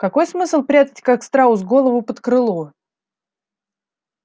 какой смысл прятать как страус голову под крыло